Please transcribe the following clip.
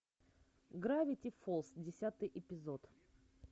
гравити фолз десятый эпизод